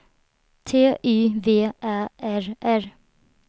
T Y V Ä R R